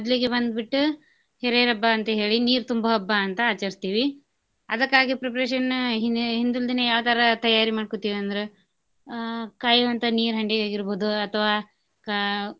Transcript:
ಮದ್ಲಿಗ ಬಂದ್ ಬಿಟ್ಟ ಹೀರೆರ ಹಬ್ಬಾ ಅಂತ ಹೇಳಿ ನೀರ ತುಂಬೊ ಹಬ್ಬಾ ಅಂತಾ ಆಚರಸ್ತೇವಿ. ಅದಕ್ಕಾಗಿ preparation ಹಿಂದ್~ ಹಿಂದಿಲ್ ದಿನಾ ಯಾವ್ತರಾ ತಯಾರಿ ಮಾಡ್ಕೊತೆವಿ ಅಂದ್ರ ಆಹ್ ಕಾಯೋವಂತ ನೀರ ಹಂಡೆಯಾಗಿರ್ಬಹುದು ಅಥವಾ ಆಹ್.